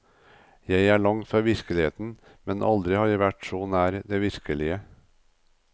Jeg er langt fra virkeligheten, men aldri har jeg vært så nær det virkelige.